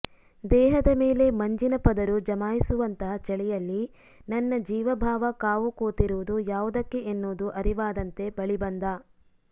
ದೇಹದ ಮೇಲೆ ಮಂಜಿನ ಪದರು ಜಮಾಯಿಸುವಂತಹ ಚಳಿಯಲ್ಲಿ ನನ್ನ ಜೀವಭಾವ ಕಾವು ಕೂತಿರುವುದು ಯಾವುದಕ್ಕೆ ಎನ್ನುವುದು ಅರಿವಾದಂತೆ ಬಳಿ ಬಂದ